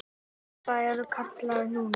Já, það ertu kallaður núna.